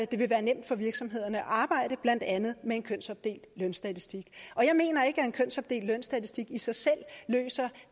det vil være nemt for virksomhederne at arbejde blandt andet med en kønsopdelt lønstatistik jeg mener ikke at en kønsopdelt lønstatistik i sig selv løser